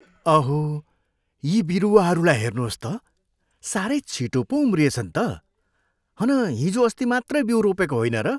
अहो, यी बिरुवाहरूलाई हेर्नुहोस् त, साह्रै छिटो पो उम्रिएछन् त। हन हिजोअस्ति मात्रै बिउ रोपेको होइन र?